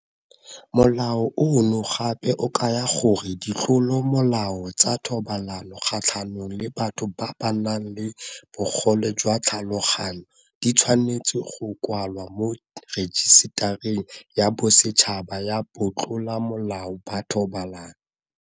Molao ono gape o kaya gore ditlolomolao tsa thobalano kgatlhanong le batho ba ba nang le bogole jwa tlhaloganyo di tshwanetse go kwalwa mo Rejisetareng ya Bosetšhaba ya Batlolamolao ba Thobalano.